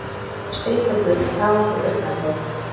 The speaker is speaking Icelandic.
Strýkur burtu tár úr augnakrók.